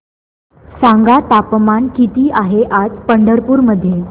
सांगा तापमान किती आहे आज पंढरपूर मध्ये